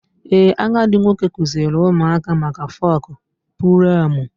Ee, agadi nwoke kụziiri ụmụaka maka folk preomu.